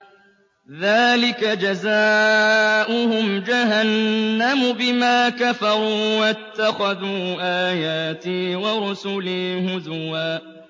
ذَٰلِكَ جَزَاؤُهُمْ جَهَنَّمُ بِمَا كَفَرُوا وَاتَّخَذُوا آيَاتِي وَرُسُلِي هُزُوًا